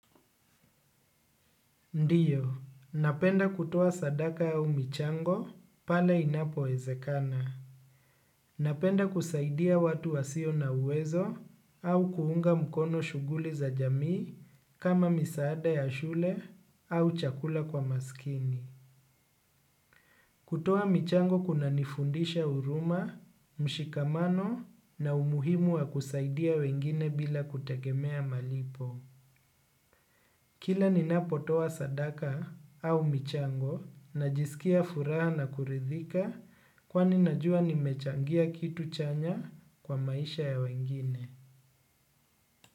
Ndiyo, napenda kutoa sadaka au michango pale inapowezekana. Napenda kusaidia watu wasio na uwezo au kuunga mkono shughuli za jamii, kama misaada ya shule au chakula kwa maskini. Kutoa michango kunanifundisha huruma, mshikamano na umuhimu wa kusaidia wengine bila kutegemea malipo. Kila ninapotoa sadaka au michango, najisikia furaha na kuridhika kwani najua nimechangia kitu chanya kwa maisha ya wengine.